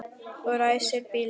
Og ræsir bílinn.